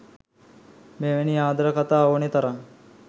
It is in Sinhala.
මෙවැනි ආදර කතා ඕනේ තරම්